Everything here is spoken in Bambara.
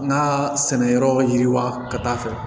N ka sɛnɛyɔrɔ yiriwa ka taa fɛ